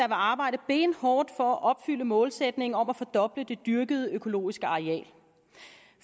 arbejde benhårdt for at opfylde målsætningen om at fordoble det dyrkede økologiske areal